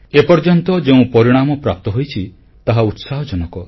ଏପର୍ଯ୍ୟନ୍ତ ଯେଉଁ ପରିଣାମ ପ୍ରାପ୍ତ ହୋଇଛି ତାହା ଉତ୍ସାହଜନକ